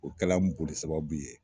O kɛla n boli sababu ye